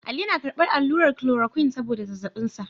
Ali yana karbar allurar kulorokwin saboda zazzabin sa.